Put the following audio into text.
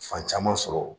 Fan caman sɔrɔ